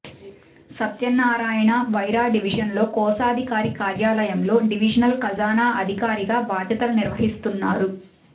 సత్యనారాయణ వైరా డివిజన్లో కోశాధికారి కార్యాలయంలో డివిజనల్ ఖజానా అధికారిగా బాధ్యతలు నిర్వహిస్తున్నారు